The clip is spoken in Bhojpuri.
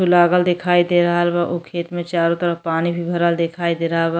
लागल दिखाई दे रहला बा। ओ खेत में चारों तरफ पानी भरल देखाई दे रहा बा।